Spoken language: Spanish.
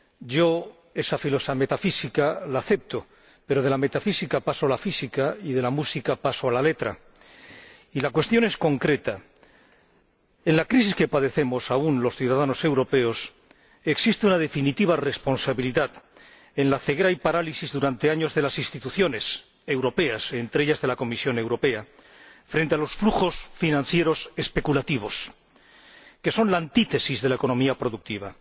Yo, esa metafísica, la acepto, pero de la metafísica paso a la física y de la música paso a la letra. Y la cuestión es concreta en la crisis que padecemos aún los ciudadanos europeos existe una definitiva responsabilidad en la ceguera y parálisis durante años de las instituciones europeas —entre ellas, de la Comisión Europea— frente a los flujos financieros especulativos, que son la antítesis de la economía productiva.